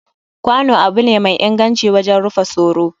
Kwano abu ne mai inganci wajen rufa soro,